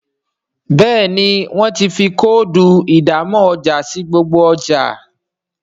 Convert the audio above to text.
Béèni wón tí fí Kóòdù ìdámọ̀ ọjà sí gbogbo ọjà.